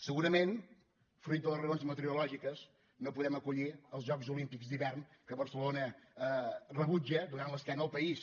segurament fruit de les raons meteorològiques no podem acollir els jocs olímpics d’hivern que barcelona rebutja donant l’es·quena al país